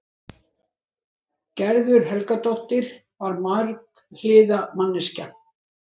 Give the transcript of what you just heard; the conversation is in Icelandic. Gerður Helgadóttir var marghliða manneskja.